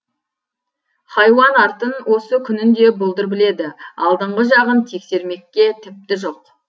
хайуан артын осы күнін де бұлдыр біледі алдыңғы жағын тексермекке тіпті жоқ